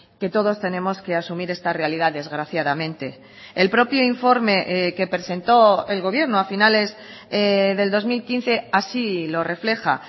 que todos tenemos que asumir esta realidad desgraciadamente el propio informe que presentó el gobierno a finales del dos mil quince así lo refleja